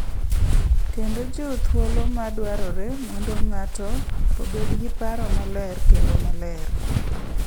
Kendo chiw thuolo ma dwarore mondo ng’ato obed gi paro maler kendo maler.